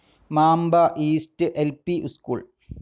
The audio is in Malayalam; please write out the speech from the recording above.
Mamba east L P. സ്കൂൾ